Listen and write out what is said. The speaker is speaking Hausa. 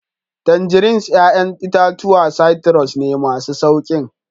Tangerines 'ya'yan itatuwa citrus ne, masu sauƙin